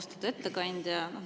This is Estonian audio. Austatud ettekandja!